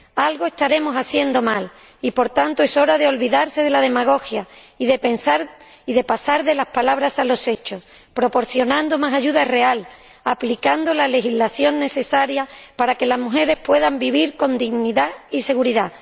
Algo estaremos haciendo mal, y, por tanto, es hora de olvidarse de la demagogia y de pasar de las palabras a los hechos, proporcionando más ayuda real y aplicando la legislación necesaria para que las mujeres puedan vivir con dignidad y seguridad.